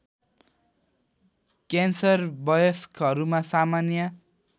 cancer वयस्कहरूमा सामान्य